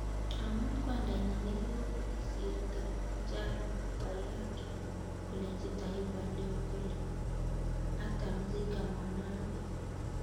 Omut, kwangdanyiii ne kokisirto Njaro Wairatu kolenji Taifa Leo kole "hatamzika mwanawe"